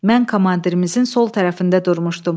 Mən komandirimizin sol tərəfində durmuşdum.